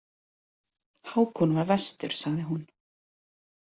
Hákon var verstur, sagði hún.